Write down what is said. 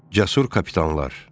Cəsur kapitanlar.